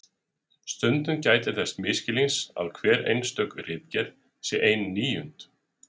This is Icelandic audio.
Stundum gætir þess misskilnings að hver einstök ritgerð sé ein níund.